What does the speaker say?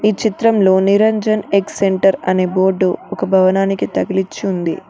ఈ చిత్రంలో Niranjan egg centre అనే బోర్డు ఒక భవానికి తగిలించి ఉంది.